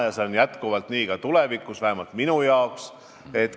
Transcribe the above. Ja see jääb nii ka tulevikus, vähemalt ma soovin seda.